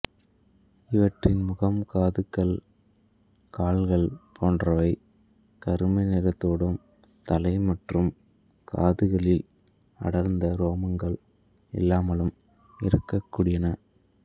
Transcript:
இவற்றின் முகம் காதுகள் கால்கள் போன்றவை கருமை நிறத்தோடும் தலை மற்றும் காதுகளில் அடர்ந்த ரோமங்கள் இல்லாமலும் இருக்கக்கூடியன